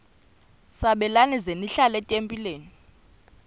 sabelani zenihlal etempileni